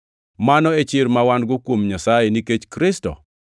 Mano e chir ma wan-go kuom Nyasaye nikech Kristo.